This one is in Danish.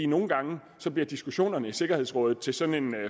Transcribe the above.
nogle gange bliver diskussionerne i sikkerhedsrådet til sådan en